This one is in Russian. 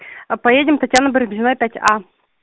а поедем татьяны барамзиной пять а